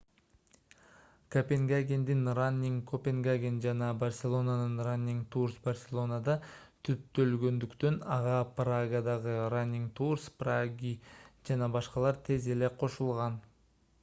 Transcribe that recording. копенгагендин running copenhagen жана барселонанын running tours барселонада түптөлгөндүктөн ага прагадагы running tours prague жана башкалар тез эле кошулган